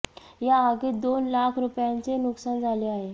या आगीत दोन लाख रुपयांचे नुकसान झाले आहे